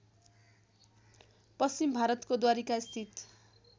पश्चिम भारतको द्वारिकास्थित